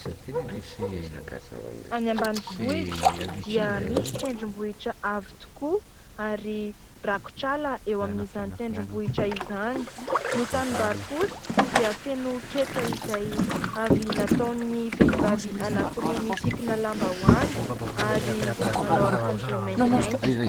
Any ambanivohitra dia misy tendrom-bohitra avo tokoa, ary rakotra ala eo amin'izany tendrom-bohitra izany. Ny tanim-bary kosa dia feno ketsa izay avy nataon'ny vehivavy anankiroa misikina lambahoany, ary manao akanjo maintimainty.